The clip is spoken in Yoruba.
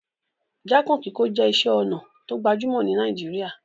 Jákàn kíkó je isé onà to gbajúmò ni Naijiria